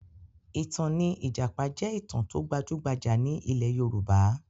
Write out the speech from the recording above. Ìtàn ní ìjàpá jẹ́ ìtàn tó gbajúgbajà ní ilẹ̀ Yorùbá